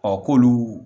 Ɔ k'olu